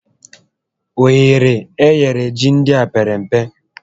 Ohere e nyere ji ndịa pere mpe